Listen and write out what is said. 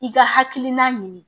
I ka hakilina ɲini